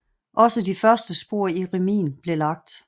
Også de første spor i remisen blev lagt